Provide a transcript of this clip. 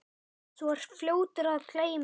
Þú ert fljótur að gleyma.